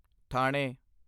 ਥਾਣੇ